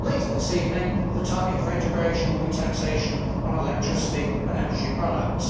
later this evening, the target for integration will be taxation on electricity and energy products.